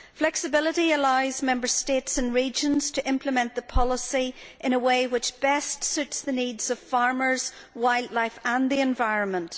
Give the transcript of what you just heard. Flexibility allows Member States and regions to implement the policy in a way which best suits the needs of farmers, wildlife and the environment.